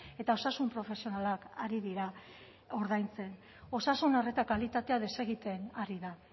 eta osasun profesionalak ari dira ordaintzen osasun arreta kalitatea desegiten ari da